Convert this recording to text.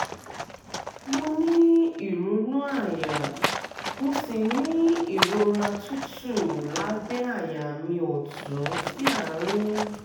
mo ní ìrunú àyà mo sì ní ìrora tútù lábẹ́ àyà mi ọ̀tún sí àárín